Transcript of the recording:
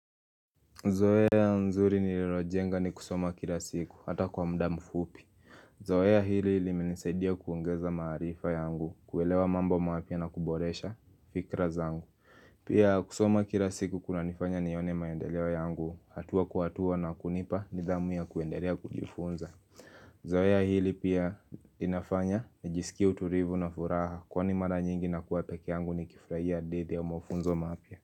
Zoea nzuri nililojenga ni kusoma kila siku hata kwa mda mu fupi Zoea hili limenisaidia kuongeza maarifa yangu kuelewa mambo mapia na kuboresha fikra zangu Pia kusoma kila siku kuna nifanya nione maendeleo yangu hatua kwa hatua na kunipa ni dhamu ya kuendelea kujifunza Zoea hili pia inafanya nijisikie utulivu na furaha kwani mara nyingi na kuwa pekee yangu ni kifurahia hidithi au mafunzo mapia.